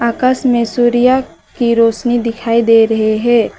आकाश में सूर्या की रोशनी दिखाई दे रहे है।